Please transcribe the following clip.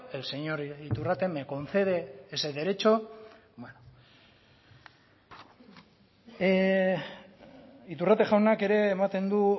el señor iturrate me concede ese derecho iturrate jaunak ere ematen du